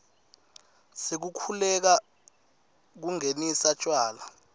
sekukhululeka kungenisa tjwala